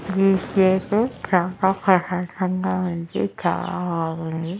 ఈ ప్లేస్ చాలా ప్రశాంతంగా ఉంది చాలా బాగుంది.